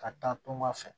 Ka taa tunga fɛ